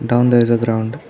down there is a ground.